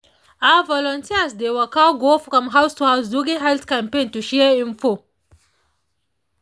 ah volunteers dey waka go from house to house during health campaign to share info